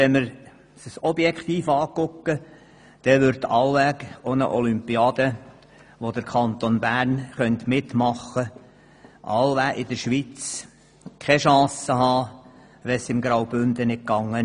Wenn wir das objektiv anschauen, dann würde wohl auch eine Olympiade, bei welcher der Kanton Bern mitmachen könnte, in der Schweiz keine Chance haben, wenn es im Graubünden nicht ging.